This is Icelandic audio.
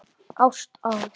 Ást á